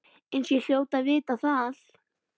Eins og ég hljóti að vita.